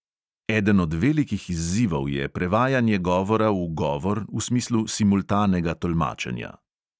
Eden od velikih izzivov je prevajanje govora v govor v smislu simultanega tolmačenja.